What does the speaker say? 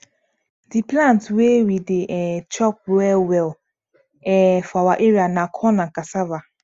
di plant wey we dey um chop well well um for our area na corn and cassava